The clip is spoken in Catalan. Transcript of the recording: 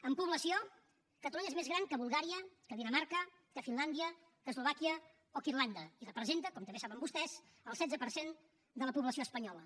en població catalunya és més gran que bulgària que dinamarca que finlàndia que eslovàquia o que irlanda i representa com també saben vostès el setze per cent de la població espanyola